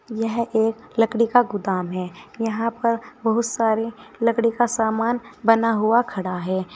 यह एक लकड़ी का गोदाम है यहां पर बहुत सारे लकड़ी का सामान बना हुआ खड़ा है।